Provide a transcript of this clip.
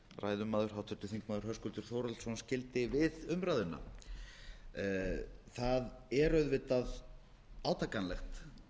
ræðumaður háttvirtur þingmaður höskuldur þórhallsson skildi við umræðuna það er auðvitað átakanlegt að fylgjast